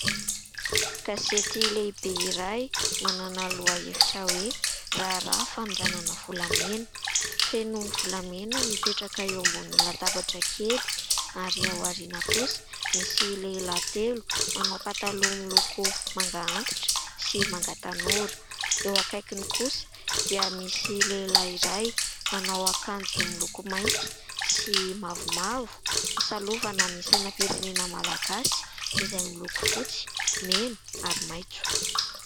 Gazety lehibe iray, manana lohahevitra hoe : "raharaha fanondranana volamena", feno volamena mipetraka eo ambony latabatra kely ary aoriana kosa misy lehilahy telo manao pataloha miloko manga antitra sy manga tanora. Eo akaikiny kosa dia misy lehilahy iray manao akanjo miloko mainty sy mavomavo, misalovana ny sainam-pirenena malagasy izay miloko fotsy, mena ary maitso.